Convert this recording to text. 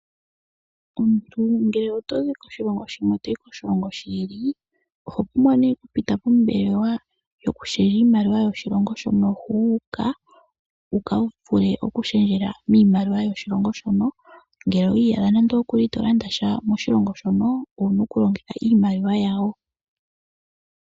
Omuntu ngele otozi koshilongo shimwe toyi kushikwawo, oho pumbwa okupita pombelewa yokushendja iimaliwa yoshilongo shono wuuka, yikale shendjelwe miimaliwa mbyoka. Shika ohashi ku ningile oshipu uuna ngele tolanda oompumbwe dhoye moshilongo shoka.